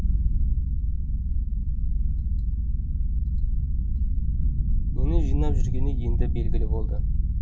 нені жинап жүргені енді белгілі болды